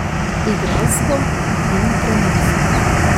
Igralsko in trenersko.